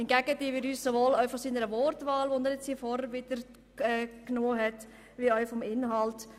Hingegen distanzieren wir uns sowohl von seiner Wortwahl als auch vom Inhalt seines Votums.